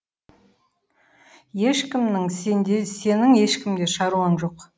ешкімнің сенде сенің ешкімде шаруаң жоқ